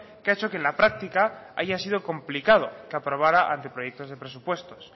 que ha hecho que en la práctica haya sido complicado que aprobara anteproyectos de presupuestos